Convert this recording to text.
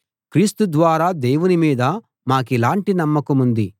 క్రీస్తు ద్వారా దేవుని మీద మాకిలాంటి నమ్మకముంది